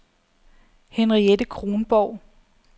Henriette Kronborg